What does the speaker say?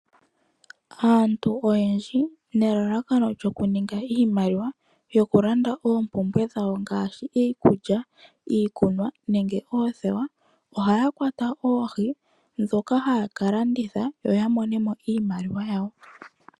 Aantu oyendji nelalakano lyokuninga iimaliwa yokulanda oompumbwe dhawo ngaashi iikulya, iikunwa nenge oothewa, ohaya kwata oohi dhoka haya kalanditha yo yamonemo iimaliwa yawo.